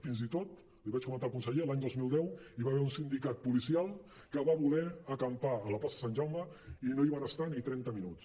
fins i tot l’hi vaig comentar al conseller l’any dos mil deu hi va haver un sindicat policial que va voler acampar a la plaça sant jaume i no hi van estar ni trenta minuts